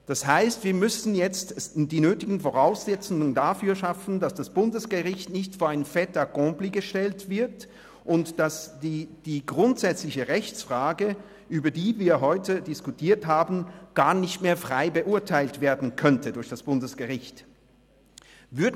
Das heisst, wir müssen jetzt die nötigen Voraussetzungen dafür schaffen, sodass das Bundesgericht nicht vor ein Fait accompli gestellt wird und die grundsätzliche Rechtsfrage, über die wir heute diskutiert haben, gar nicht mehr frei durch das Bundesgericht beurteilt werden könnte.